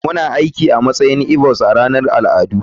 Muna aiki a matsayin igbos a ranar al'adu.